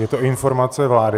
Je to informace vlády.